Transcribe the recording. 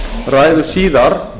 ræðu síðar